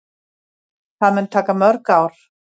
Það mun taka mörg ár.